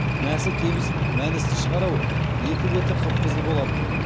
мәсі кебіс мәністі шығар ау екі беті қып қызыл болатын